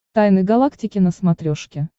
тайны галактики на смотрешке